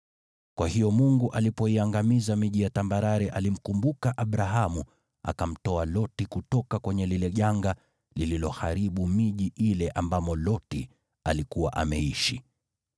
Kwa hiyo Mungu alipoiangamiza miji ya tambarare alimkumbuka Abrahamu, akamtoa Loti kutoka kwenye lile janga lililoharibu miji ile ambamo Loti alikuwa ameishi.